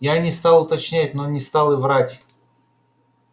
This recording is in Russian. я не стал уточнять но не стал и врать